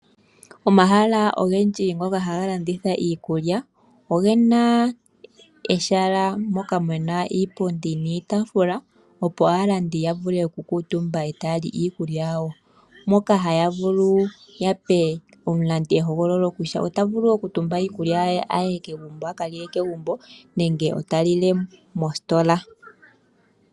Omahala ogendji ngoka haga landitha iikulya oge na ehala moka mu na iipundi niitafula, opo aalandi ya vule okukuutumba e ta ya li iikulya yawo moka haya vulu ya pe omulandi ehogololo kutya ota vulu okutumba iikulya ye a ka lile kegumbo nenge ta lile mositola.